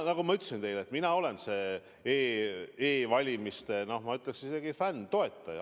Nagu ma ütlesin teile, mina olen e-valimiste, ma ütleksin isegi, fänn, toetaja.